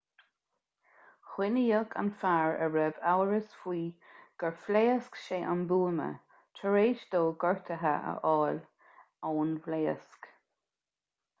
coinníodh an fear a raibh amhras faoi gur phléasc sé an buama tar éis dó gortuithe a fháil ón bpléasc